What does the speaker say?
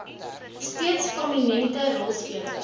steeds prominente rolspelers